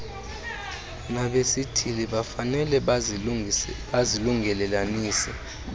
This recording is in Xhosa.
nabesithili bafanele bazilungelelanise